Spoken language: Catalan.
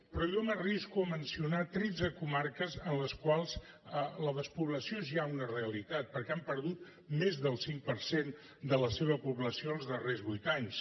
però jo m’arrisco a mencionar tretze comarques en les quals la despoblació és ja una realitat perquè han perdut més del cinc per cent de la seva població els darrers vuit anys